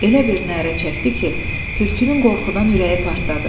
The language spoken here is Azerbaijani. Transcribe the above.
Elə bir nərə çəkdi ki, tülkünün qorxudan ürəyi partladı.